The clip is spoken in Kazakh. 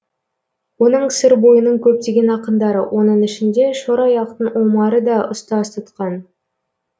оны сыр бойының көптеген ақындары оның ішінде шораяқтың омары да ұстаз тұтқан